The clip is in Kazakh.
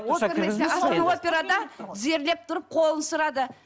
тізерлеп тұрып қолын сұрады